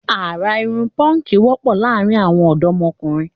Àrà irun póńkì wọ́pọ̀ láàrin àwọn ọ̀dọ́mokùnrin